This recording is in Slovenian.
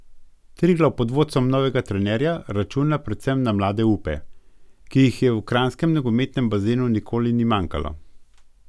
Triglav pod vodstvom novega trenerja računa predvsem na mlade upe, ki jih v kranjskem nogometnem bazenu nikoli ni manjkalo.